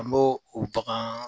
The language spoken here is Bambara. An b'o o bagan